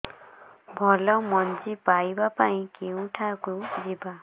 ଭଲ ମଞ୍ଜି ପାଇବା ପାଇଁ କେଉଁଠାକୁ ଯିବା